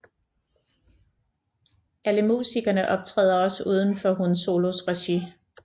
Alle musikerne optræder også uden for HUN SOLOs regi